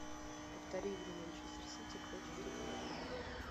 повтори игру манчестер сити против тоттенхэма